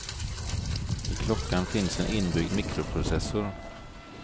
I klockan finns en inbyggd mikroprocessor.